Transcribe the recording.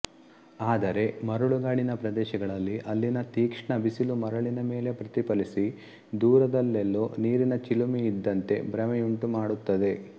ಆದರೆ ಮರಳುಗಾಡಿನ ಪ್ರದೇಶಗಳಲ್ಲಿ ಅಲ್ಲಿನ ತೀಕ್ಷ್ಣ ಬಿಸಿಲು ಮರಳಿನ ಮೇಲೆ ಪ್ರತಿಫಲಿಸಿ ದೂರದಲ್ಲೆಲ್ಲೋ ನೀರಿನ ಚಿಲುಮೆಯಿದ್ದಂತೆ ಭ್ರಮೆಯುಂಟು ಮಾಡುತ್ತದೆ